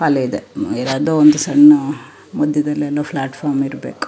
ಕಾಲಿದೆ ಯಾವದೋ ಒಂದು ಸಣ್ಣ ಮಧ್ಯದಲ್ಲಿಎಲ್ಲೊ ಪ್ಲಾಟ್ ಫಾರಂ ಇರಬೇಕು.